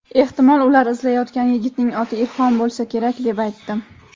ehtimol ular izlayotgan yigitning oti "Ilhom" bo‘lsa kerak deb aytdim".